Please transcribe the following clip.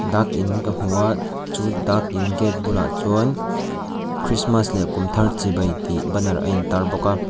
dak in ka hmu a chu dak in gate bulah chuan christmas leh kum thar chibai tih banner a intar bawk a.